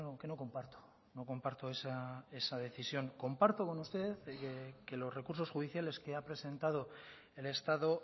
que no comparto no comparto esa decisión comparto con usted que los recursos judiciales que ha presentado el estado